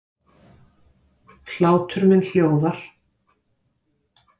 Hlátur minn hljóðar.